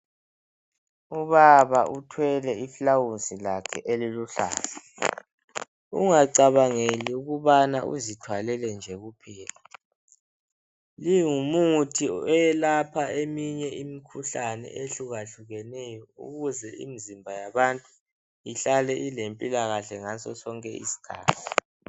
Ubaba uthelwe iflawuzi lakhe eliluhlaza ungacabangeli ukubana uzithwalele nje kuphela lingumuthi oyelapha eminye imikhuhlane eyehlukehlukeneyo ukuze imzimba yabantu ihlale ilempilakahle ngaso sonke isikhathi.